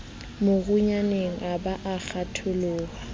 morunyaneng a ba a kgatholoha